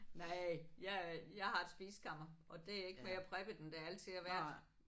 Nej jeg er jeg har et spisekammer og det er ikke mere preppet end det altid har været